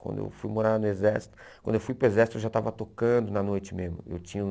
Quando eu fui morar no Exército, quando eu fui para o Exército eu já estava tocando na noite mesmo. Eu tinha